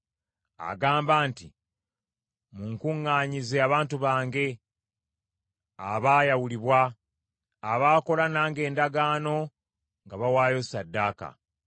Agamba nti, “Munkuŋŋaanyize abantu bange abaayawulibwa, abaakola nange endagaano nga bawaayo ssaddaaka.”